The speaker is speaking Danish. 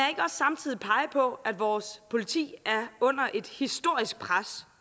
samtidig pege på at vores politi er under et historisk pres